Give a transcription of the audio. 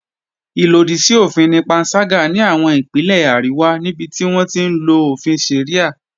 Ìlòdì sí òfin ni panṣágà ní àwọn Ìpínlẹ̀ àríwá níbi tí wọ́n ti ń lo òfin Sharia